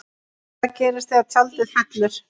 Hvað gerist þegar tjaldið fellur?